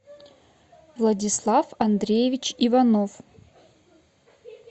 владислав андреевич иванов